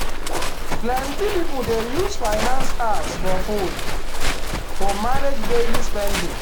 plenty people dey use finance apps for phone to manage daily spending.